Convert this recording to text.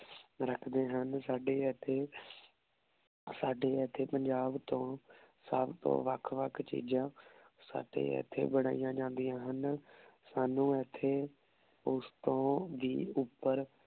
ਰਖਦੇ ਹਨ ਸਾਡੇ ਏਥੇ ਸਾਡੇ ਏਥੇ ਪੰਜਾਬ ਤੋਂ ਸਬ ਤੋਂ ਵਖ ਵਖ ਚੀਜ਼ਾਂ ਸਾਡੇ ਏਥੇ ਬਣਾਈਆਂ ਜਾਨ੍ਦਿਯਾਂ ਹਨ ਸਾਨੂ ਏਥੇ ਓਸ ਤੋਂ ਵੀ ਉਪਰ